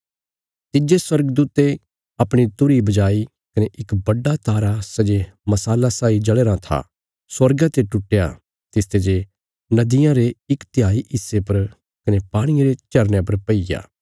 तिज्जे स्वर्गदूते अपणी तुरही बजाई कने इक बड्डा तारा सै जे मशाला साई जल़या राँ था स्वर्गा ते टुट्टया तिसते जे नदियां रे इक तिहाई हिस्से पर कने पाणिये रे झरनयां पर पईग्या